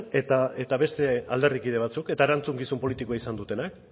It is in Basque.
eta beste alderdikide batzuk eta erantzukizun politikoa izan dutenak